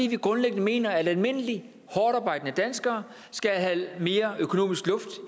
vi grundlæggende mener at almindelige hårdtarbejdende danskere skal have mere økonomisk luft